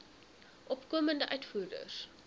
opkomende uitvoerders